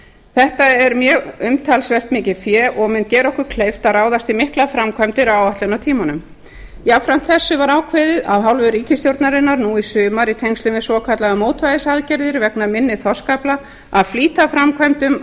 þetta er mjög umtalsvert mikið fé og mun gera okkur kleift að ráðast í miklar framkvæmdir á áætlunartímanum jafnframt þessu var ákveðið af hálfu ríkisstjórnarinnar nú í sumar í tengslum við svokallaðar mótvægisaðgerðir vegna minni þorskafla að flýta framkvæmdum